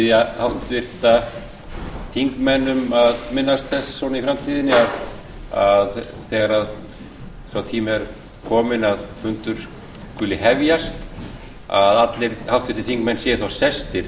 ég bið háttvirta þingmenn að minnast þess í framtíðinni að þegar sá tími er kominn að fundur skuli hefjast séu allir háttvirtir þingmenn sestir